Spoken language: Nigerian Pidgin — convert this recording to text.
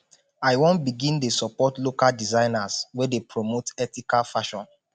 i wan begin dey support local designers wey dey promote ethical fashion